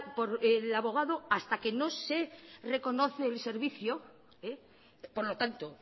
por el abogado hasta que no se reconoce el servicio por lo tanto